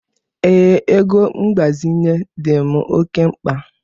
Ee, ego mgbazinye dị m oke mkpa.